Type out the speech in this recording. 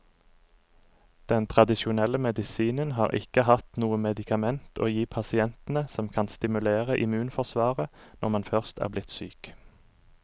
Den tradisjonelle medisinen har ikke hatt noe medikament å gi pasientene som kan stimulere immunforsvaret når man først er blitt syk.